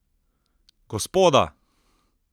Gospoda!